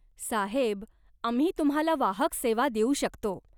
साहेब आम्ही तुम्हाला वाहक सेवा देऊ शकतो.